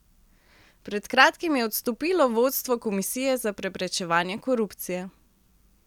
Pred kratkim je odstopilo vodstvo Komisije za preprečevanje korupcije.